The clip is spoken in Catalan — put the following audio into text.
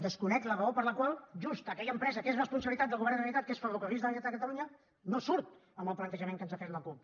desconec la raó per la qual just aquella empresa que és responsabilitat del govern de la generalitat que és ferrocarrils de la generalitat de catalunya no surt en el plantejament que ens ha fet la cup